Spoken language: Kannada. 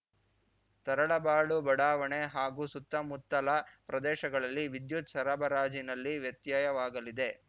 ತರಳಬಾಳು ಬಡಾವಣೆ ಹಾಗೂ ಸುತ್ತಮುತ್ತಲ ಪ್ರದೇಶಗಳಲ್ಲಿ ವಿದ್ಯುತ್‌ ಸರಬರಾಜಿನಲ್ಲಿ ವ್ಯತ್ಯಯವಾಗಲಿದೆ